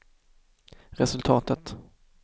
resultatet